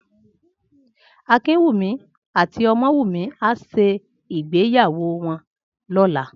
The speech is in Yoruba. Akinkunmi àtí Omowunmi á ṣé igbéyàwó wòn lòlá